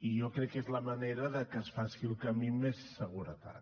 i jo crec que és la manera de que es faci el camí amb més seguretat